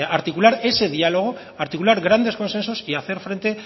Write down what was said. articular ese diálogo articular grandes consensos y hacer frente